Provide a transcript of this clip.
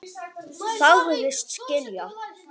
Sagðist skilja.